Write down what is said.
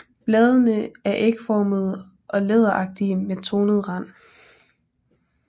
Bladene er ægformede og læderagtige med tornet rand